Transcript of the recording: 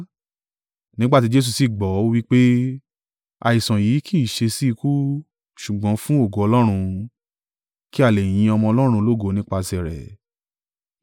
Nígbà tí Jesu sì gbọ́, ó wí pé, “Àìsàn yìí kì í ṣe sí ikú, ṣùgbọ́n fún ògo Ọlọ́run, kí a lè yin Ọmọ Ọlọ́run lógo nípasẹ̀ rẹ̀.”